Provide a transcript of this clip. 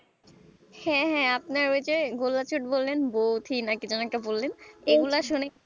হ্যাঁ হাঁ আপনার ওই যে গোল্লা ছুটে বললেন বঠি না কি যেন একটা বললেন এগুলা শুনে